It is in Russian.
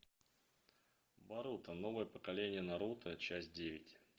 боруто новое поколение наруто часть девять